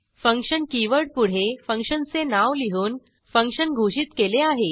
function कीवर्डपुढे फंक्शनचे नाव लिहून फंक्शन घोषित केले आहे